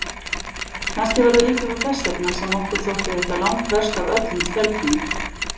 Kannski var það líka þess vegna sem okkur þótti þetta langverst af öllum stelpunum.